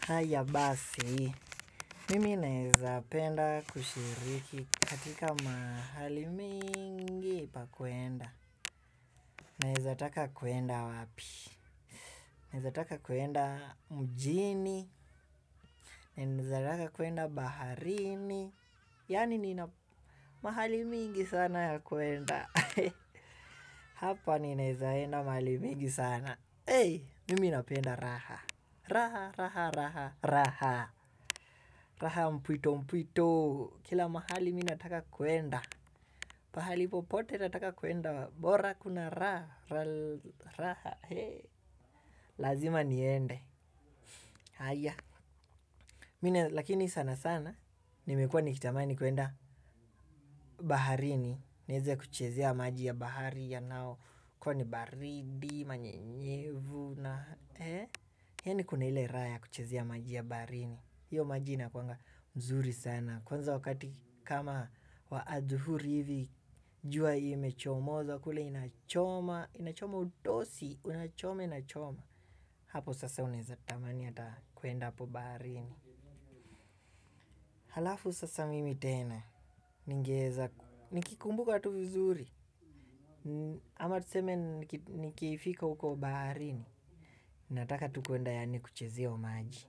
Haiya basi, mimi nawezapenda kushiriki katika mahali mingi pakuenda. Nawezataka kuenda wapi? Nawezataka kuenda mjini, nawezataka kuenda baharini. Yaani nina mahali mingi sana ya kuenda. Hapa ninawezaenda mahali mingi sana. Hey, mimi napenda raha. Raha, raha, raha, raha. Raha mpwito, mpwito. Kila mahali mimi nataka kuenda. Mahali popote nataka kuenda, bora kuna raha. Lazima niende. Haya. Lakini sana sana. Nimekuwa nikitamani kuenda baharini. Niwezekuchezea maji ya bahari yanao. Kwani baridi, manyenyevu na. Yaani kuna ile raha ya kuchezea maji ya baharini. Hiyo maji inakuanga mzuri sana. Kwanza wakati kama wa adhuhuri hivi. Jua imechomoza kule inachoma, inachoma utosi, unachome inachoma. Hapo sasa unaweza tamani ata kuenda hapo barini. Halafu sasa mimi tena, ningeweza. Nikikumbuka tu vizuri. Ama tuseme nikifika huko baharini. Nataka tu kuenda yaani kuchezea hiyo maji.